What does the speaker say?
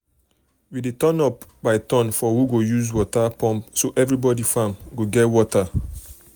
um we dey turn by turn for who go use water um pump so everybody farm go get water.